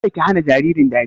Kada ki hana jaririn dariya!